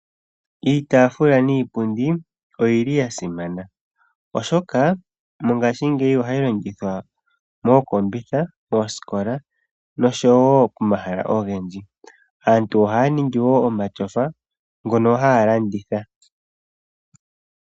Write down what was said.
Iitaafula niipundi oyili yasimana oshoka mongashingeyi ohayi longithwa mookombitha, moosikola nosho woo pomahala ogendji. Aantu ohaya ningi woo omashofa ngono haya landitha.